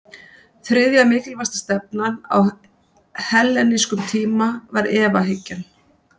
þriðja mikilvægasta stefnan á hellenískum tíma var efahyggjan